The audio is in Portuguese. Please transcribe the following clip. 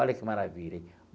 Olha que maravilha, hein?